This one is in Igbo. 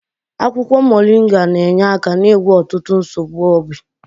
Akwụkwọ moringa na-enye aka n'ịgwọ ọtụtụ nsogbu obi.